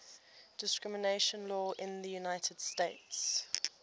discrimination law in the united states